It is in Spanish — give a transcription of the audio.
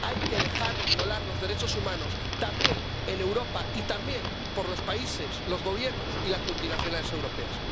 Hay que dejar de violar los derechos humanos. También en Europa, y también por los países, los Gobiernos y las multinacionales europeas.